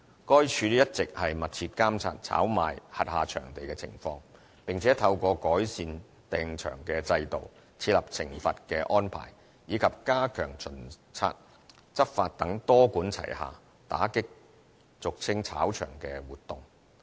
該署一直密切監察炒賣轄下場地的情況，並且透過改善訂場制度、設立懲罰安排，以及加強巡察執法等多管齊下，打擊俗稱"炒場"的活動。